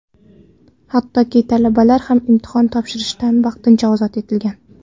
Hattoki talabalar ham imtihon topshirishdan vaqtincha ozod etilgan.